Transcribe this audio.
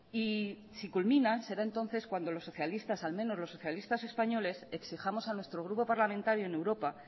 y si culminan será entonces cuando los socialistas al menos los socialistas españoles exijamos a nuestro grupo parlamentario en europa